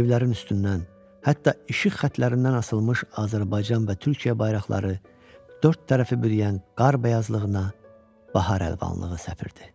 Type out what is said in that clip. evlərin üstündən, hətta işıq xətlərindən asılmış Azərbaycan və Türkiyə bayraqları dörd tərəfi bürüyən qar bəyazlığına bahar əlvanlığı səpirdi.